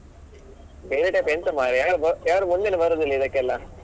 ಬೇರೆ type ಎಂಥ ಮಾರಾಯ ಯಾರು ಮುಂದೇನೆ ಬರುದಿಲ್ಲ ಇದಕ್ಕೆಲ್ಲಾ.